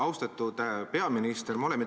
Austatud peaminister!